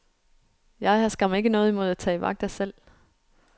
Jeg har skam ikke noget imod at tage vagter selv.